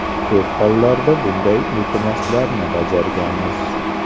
Ko‘p hollarda bunday iltimoslarni bajarganmiz.